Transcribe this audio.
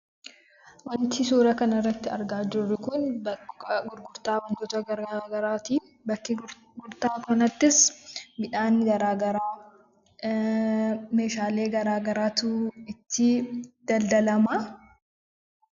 Wanti suuraa kanabirratti argaa jiruu kun, bakka gurgurtaa wantoota gara garaatti. Bakka gurgurtaa kanattis midhaan gara garaa, meshalee gara garaatu itti daldalama.